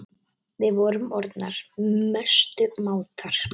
Við vorum orðnar mestu mátar.